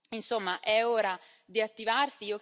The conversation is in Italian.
Insomma, è ora di attivarsi.